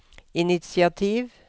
initiativ